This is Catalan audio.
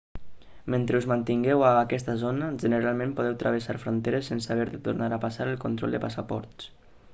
mentre us mantingueu a aquesta zona generalment podeu travessar fronteres sense haver de tornar a passar el control de passaports